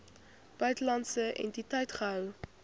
buitelandse entiteit gehou